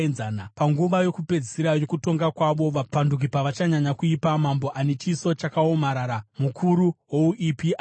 “Panguva yokupedzisira yokutonga kwavo, vapanduki pavachanyanya kuipa, mambo ane chiso chakaomarara, mukuru wouipi, achamuka.